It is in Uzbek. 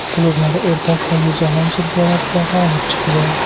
Klublar o‘rtasidagi Jahon chempionatida g‘olib chiqdi.